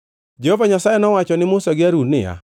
Jehova Nyasaye nowacho ni Musa gi Harun niya,